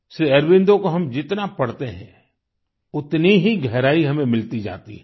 श्री अरबिंदो को हम जितना पढ़ते हैं उतनी ही गहराई हमें मिलती जाती है